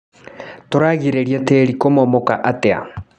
Tũragirĩrĩa tĩri kũmomoka atĩa.